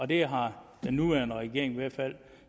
det har den nuværende regering i hvert fald